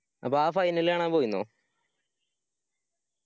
അപ്പൊ ആ final കാണാൻ പോയിനോ?